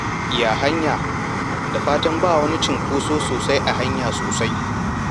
Ya hanya? Da fatan ba wani cunkoso sosai a hanya sosai?